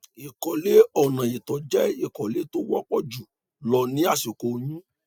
ìkọlé ọnà ìtọ jẹ ìkọlé tó wọpọ jù lọ ní àsìkò oyún